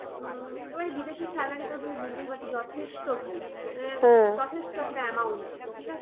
উম এবার বিদেশে salary তো তুমি বুঝতেই পারছো যথেষ্ট ভালো যথেষ্ট একটা amount ঠিক আছে।